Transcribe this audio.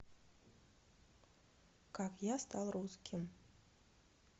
как я стал русским